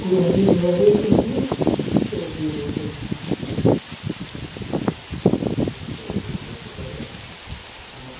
पुराने जमाने का है। शॉप भी बहुत अच्छा है। हम्म बहुत अच्छा है ये तो देखने से लग रहा है। ह --